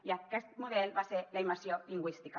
i aquest model va ser la immersió lingüística